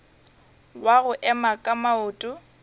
wa go ema ka maoto